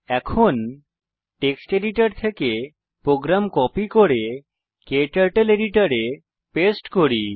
এখন text editor থেকে program copy করে ক্টার্টল এডিটর এ পেস্ট করি